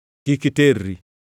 Kik iterri.